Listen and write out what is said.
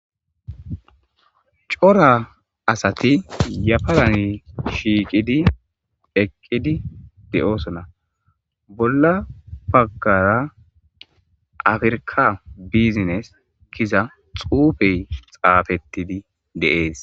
Cora asati yafaran shiiqidi eqidi de'eosona bolla bagara Africa business giza xufey xafetidi de'ese